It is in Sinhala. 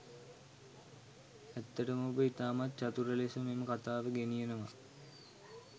ඇත්තටම ඔබ ඉතාමත් චතුර ලෙස මේ කතාව ගෙනියනවා.